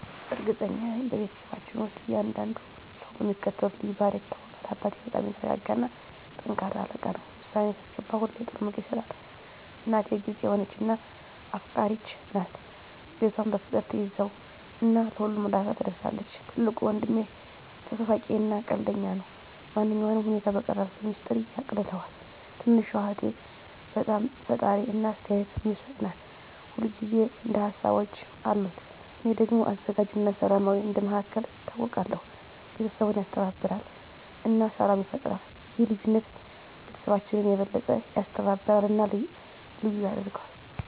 እርግጠኛ ነኝ፤ በቤተሰባችን ውስጥ እያንዳንዱ ሰው በሚከተሉት ልዩ ባህሪያት ይታወቃል - አባቴ በጣም የተረጋጋ እና ጠንካራ አለቃ ነው። ውሳኔ ሲያስገባ ሁሌ ጥሩ ምክር ይሰጣል። **እናቴ** ግልጽ የሆነች እና አፍቃሪች ናት። ቤቷን በፍቅር ትያዘው እና ለሁሉም እርዳታ ትደርሳለች። **ትልቁ ወንድሜ** ተሳሳቂ እና ቀልደኛ ነው። ማንኛውንም ሁኔታ በቀላሉ በሚስጥር ያቃልለዋል። **ትንሹ እህቴ** በጣም ፈጣሪ እና አስተያየት የምትሰጥ ናት። ሁል ጊዜ አዲስ ሀሳቦች አሉት። **እኔ** ደግሞ አዘጋጅ እና ሰላማዊ እንደ መሃከል ይታወቃለሁ። ቤተሰቡን ያስተባብራል እና ሰላም ይፈጥራል። ይህ ልዩነት ቤተሰባችንን የበለጠ ያስተባብራል እና ልዩ ያደርገዋል።